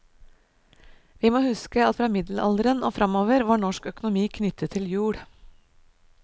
Vi må huske at fra middelalderen og fremover var norsk økonomi knyttet til jord.